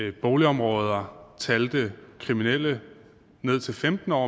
at boligområder talte kriminelle ned til femten år